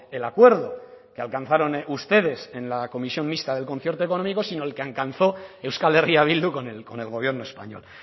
el acuerdo que alcanzaron ustedes en la comisión mixta del concierto económico sino el que alcanzó euskal herria bildu con el gobierno español